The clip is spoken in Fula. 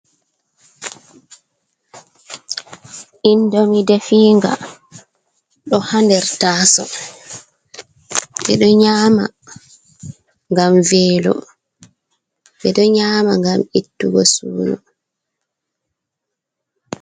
Indomi defiga ɗo ha nder taso, ɓeɗo nyama ngam velo, ɓeɗo nyama ngam ittugo suno.